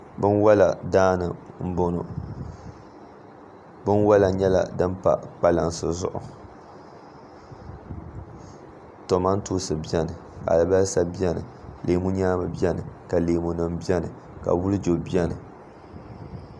binwala daani m-bɔŋɔ binwala nyɛla din pa kpalansi zuɣu tomantoosi beni alibalisa beni leemunyaamu beni ka leemunima beni ka wulijo beni